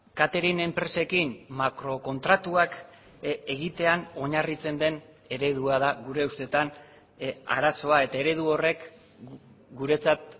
catering enpresekin makro kontratuak egitean oinarritzen den eredua da gure ustetan arazoa eta eredu horrek guretzat